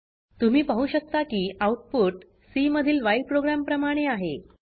तुम्ही पाहु शकता की आउटपुट सी मधील व्हाईल प्रोग्राम प्रमाणे आहे